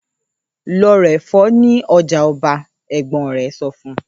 ‘Lo̩ ra è̩fó̩ ní o̩jà o̩ba!’. È̩gbó̩n re̩ so̩ fun